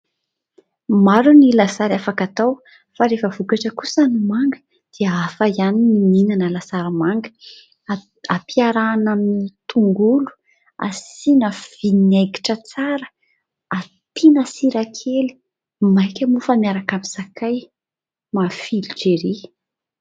Maro ny lasary afaka atao fa rehefa vokatra kosa ny manga, dia hafa ihany ny mihinana lasary manga ; ampiarahana amin'ny tongolo, asia vinaigitra tsara, ampiana sira kely, mainka moa fa miaraka amin'ny sakay, mafilotra erỳ!